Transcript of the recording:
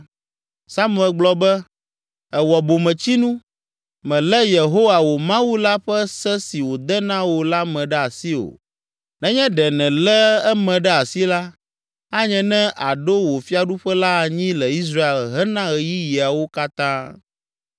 Samuel gblɔ be, “Èwɔ bometsinu, mèlé Yehowa, wò Mawu la ƒe se si wòde na wò la me ɖe asi o. Nenye ɖe nèlé eme ɖe asi la, anye ne aɖo wò fiaɖuƒe la anyi le Israel hena ɣeyiɣiawo katã.